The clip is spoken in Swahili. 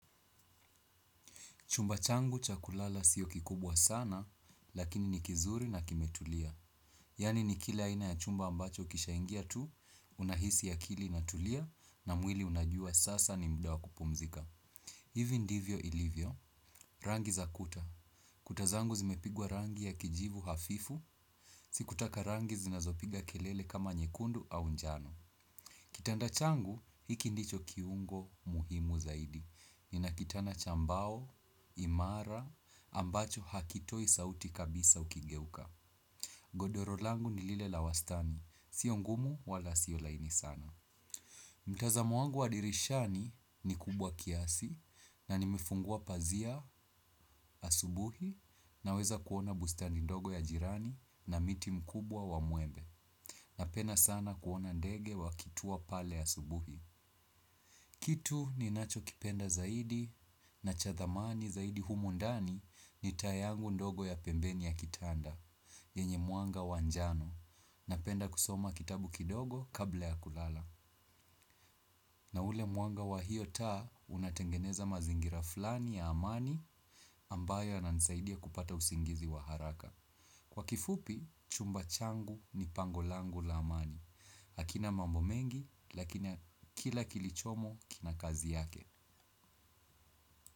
Chumba changu cha kulala siyo kikubwa sana, lakini ni kizuri na kimetulia. Yani ni kile aina ya chumba ambacho ukishaingia tu, unahisi akili inatulia, na mwili unajua sasa ni muda wa kupumzika. Hivi ndivyo ilivyo, rangi za kuta. Kuta zangu zimepigwa rangi ya kijivu hafifu, sikutaka rangi zinazopiga kelele kama nyekundu au njano. Kitanda changu, hiki ndicho kiungo muhimu zaidi. Nina kitanda cha mbao, imara, ambacho hakitoi sauti kabisa ukigeuka. Godoro langu ni lile la wastani, sio ngumu wala sio laini sana. Mtazamo wangu wa dirishani ni kubwa kiasi na nimefungua pazia asubuhi. Naweza kuona bustani ndogo ya jirani na miti mkubwa wa mwembe. Napenda sana kuona ndege wakitua pale asubuhi. Kitu ninachokipenda zaidi na cha thamani zaidi humu ndani ni taa yangu ndogo ya pembeni ya kitanda, yenye mwanga wa njano napenda kusoma kitabu kidogo kabla ya kulala. Na ule mwanga wa hio taa unatengeneza mazingira fulani ya amani ambayo yananisaidia kupata usingizi wa haraka. Kwa kifupi, chumba changu ni pango langu la amani, hakina mambo mengi lakini kila kilichomo kina kazi yake.